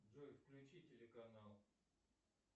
джой включи телеканал